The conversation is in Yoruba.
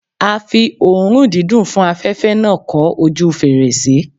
A fi oòrùn dídùn fún afẹ̀fẹ́ náà kọ́ ojúu fèrèsé.